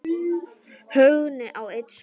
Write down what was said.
Högni á einn son.